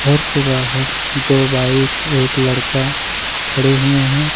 और के बाहर दो बाइक एक लड़का खड़े हुए हैं।